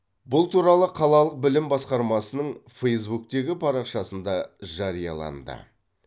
бұл туралы қалалық білім басқармасының фейзбуктегі парақшасында жарияланды